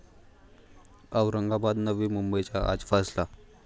औरंगाबाद, नवी मुंबईचा आज फैसला